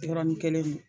Yɔrɔnin kelen